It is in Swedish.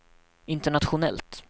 internationellt